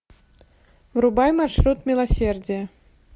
врубай маршрут милосердия